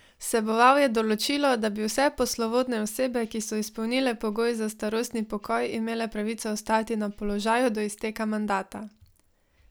Vseboval je določilo, da bi vse poslovodne osebe, ki so izpolnile pogoje za starostni pokoj, imele pravico ostati na položaju do izteka mandata.